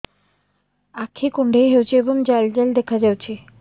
ଆଖି କୁଣ୍ଡେଇ ହେଉଛି ଏବଂ ଜାଲ ଜାଲ ଦେଖାଯାଉଛି